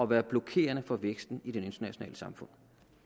være blokerende for væksten i det internationale samfund